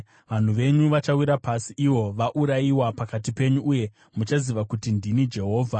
Vanhu venyu vachawira pasi ivo vaurayiwa pakati penyu, uye muchaziva kuti ndini Jehovha.